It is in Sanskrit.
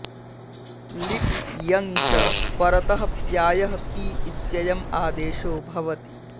लिटि यङि च परतः प्यायः पी इत्ययम् आदेशो भवति